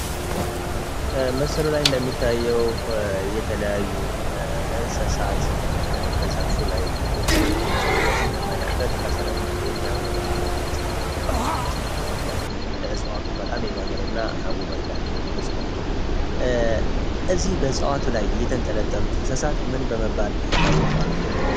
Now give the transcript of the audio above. መስሉ ላይ እንደሚታየው የተለያዩ እንሰሳት ከዘፉ ላይ ቁጭ ቁጭ ብለው ስንመለከት ከስርም የሚያምር አበባ ጽግር የዳ አበባይኝ መስል አበባላ ሕጽዋቱን በጣም የሚያምር እና ውበት ያለው እጽዋት ነው። እዚህ በሕጽዋቱ ላይ የተንጠለጠሉት እንሰሳት ምን በመባል ይታወቃሉ?